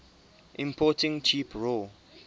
importing cheap raw